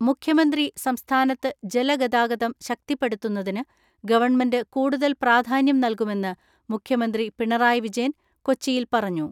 മുഖ്യമന്ത്രി സംസ്ഥാനത്ത് ജലഗതാഗതം ശക്തിപ്പെടുത്തുന്നതിന് ഗവൺമെന്റ് കൂടുതൽ പ്രാധാന്യം നൽകുമെന്ന് മുഖ്യമന്ത്രി പിണറായി വിജയൻ കൊച്ചിയിൽ പറഞ്ഞു.